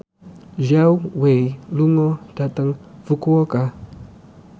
Zhao Wei lunga dhateng Fukuoka